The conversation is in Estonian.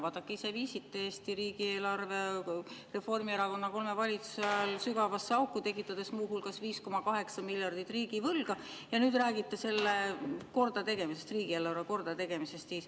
Vaadake, ise te viisite Eesti riigieelarve Reformierakonna kolme valitsuse ajal sügavasse auku, tekitades muu hulgas 5,8 miljardit riigivõlga, ja nüüd räägite riigieelarve kordategemisest.